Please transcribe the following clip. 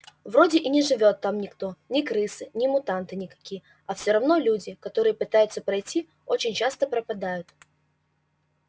вроде и не живёт там никто ни крысы ни мутанты никакие а все равно люди которые пытаются пройти очень часто пропадают